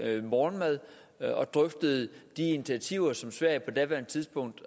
morgenmad og drøftede de initiativer som sverige på daværende tidspunkt